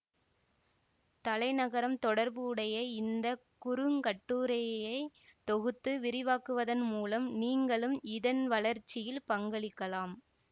தலைநகரம் தொடர்புடைய இந்த குறுங்கட்டுரையை தொகுத்து விரிவாக்குவதன் மூலம் நீங்களும் இதன் வளர்ச்சியில் பங்களிக்கலாம்